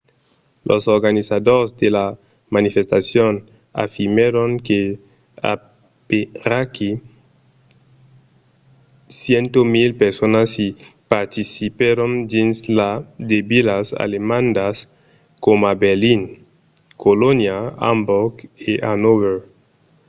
los organizadors de la manifestacion afirmèron que aperaquí 100.000 personas i participèron dins de vilas alemandas coma berlin colonha amborg e hannover